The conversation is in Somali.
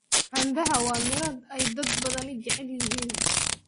Cambaha waa miro ay dad badani jecel yihiin.